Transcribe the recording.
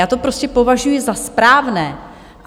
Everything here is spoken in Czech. Já to prostě považuji za správné.